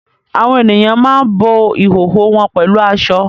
Àwọn ènìyàn máa ń bo ìhòhò wọn pẹ̀lú aṣọ